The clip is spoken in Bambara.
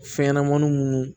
Fɛnɲɛnɛmaniw